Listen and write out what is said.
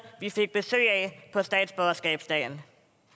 vi fik besøg af på statsborgerskabsdagen